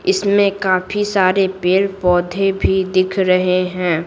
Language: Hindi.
इसमें काफी सारे पेड़-पौधे भी दिख रहे हैं।